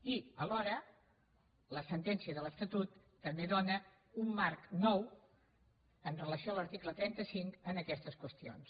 i alhora la sentència de l’estatut també dóna un marc nou amb relació a l’article trenta cinc a aquestes qüestions